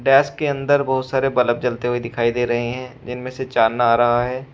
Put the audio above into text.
Rack के अंदर बहोत सारे बलफ जलते हुए दिखाई दे रहे हैं जिनमें से चांदना आ रहा है।